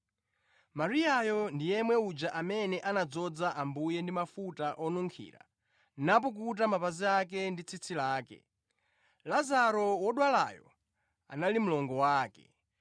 Mariyayo ndi yemwe uja amene anadzoza Ambuye ndi mafuta onunkhira napukuta mapazi ake ndi tsitsi lake. Lazaro wodwalayo anali mlongo wake.